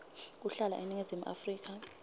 kuhlala eningizimu afrika